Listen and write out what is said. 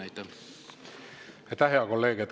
Aitäh, hea kolleeg!